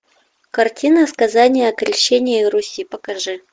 картина сказание о крещении руси покажи